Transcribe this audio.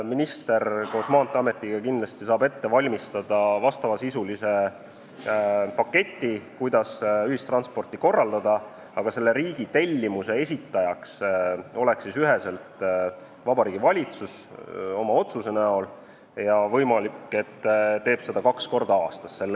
Minister koos Maanteeametiga kindlasti saab ette valmistada vastavasisulise paketi, kuidas ühistransporti korraldada, aga riigi tellimuse esitaja oleks selle eelnõu kohaselt Vabariigi Valitsus oma otsusega, ja võimalik, et ta teeb seda kaks korda aastas.